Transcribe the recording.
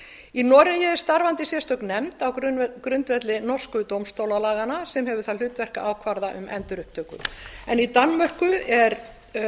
í noregi er starfandi sérstök nefnd á grundvelli norsku dómstólalaganna sem hefur það hlutverk að ákvarða um endurupptöku í danmörku er